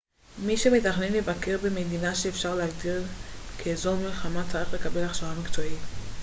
מי שמתכנן לבקר במדינה שאפשר להגדיר כאזור מלחמה צריך לקבל הכשרה מקצועית